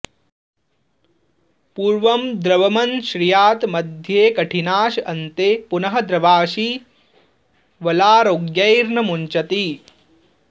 पूर्वं द्रवमश्नीयात् मध्येकठिनाश अन्ते पुनः द्रवाशी वलारोग्यैर्न मुंचति